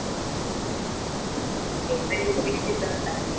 Paper upsc चा होता.